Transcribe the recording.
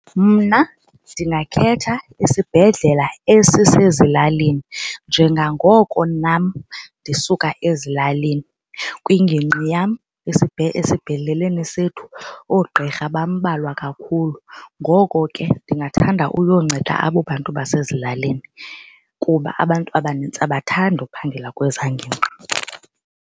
Mna ndingakhetha isibhedlela esisezilalini njengangoko nam ndisuka ezilalini kwingingqi yam esibhedleleni sethu oogqirha bambalwa kakhulu. Ngoko ke ndingathanda uyonceda abo bantu basezilalini kuba abantu abanintsi abathandi uphangela kwezaa ngingqi.